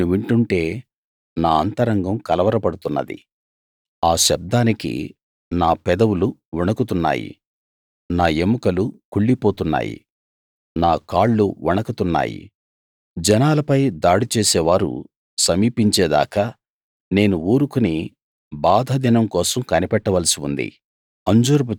నేను వింటుంటే నా అంతరంగం కలవరపడుతున్నది ఆ శబ్దానికి నా పెదవులు వణుకుతున్నాయి నా ఎముకలు కుళ్లిపోతున్నాయి నా కాళ్లు వణకుతున్నాయి జనాలపై దాడి చేసే వారు సమీపించే దాకా నేను ఊరుకుని బాధ దినం కోసం కనిపెట్టవలసి ఉంది